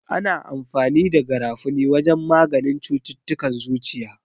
Ana amfani da garafuni wajen maganin cututtukan zuciya.